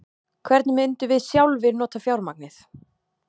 Hvernig myndum við sjálfir nota fjármagnið?